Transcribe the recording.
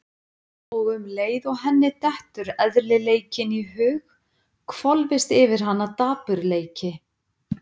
Og um leið og henni dettur eðlileikinn í hug hvolfist yfir hana dapurleiki.